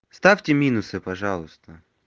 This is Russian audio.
вставьте минусы пожалуйста